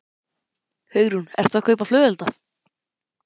Hugrún: Ert þú að kaupa flugelda?